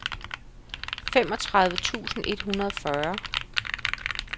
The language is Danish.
femogtredive tusind et hundrede og fyrre